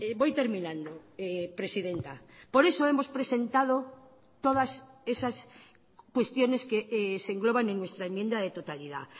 voy terminando presidenta por eso hemos presentado todas esas cuestiones que se engloban en nuestra enmienda de totalidad